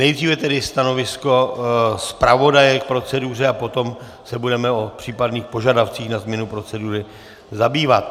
Nejdříve tedy stanovisko zpravodaje k proceduře a potom se budeme o případných požadavcích na změnu procedury zabývat.